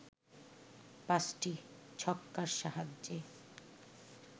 পাঁচটি ছক্কার সাহায্যে